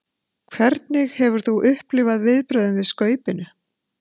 Hvernig hefur þú upplifað viðbrögðin við Skaupinu?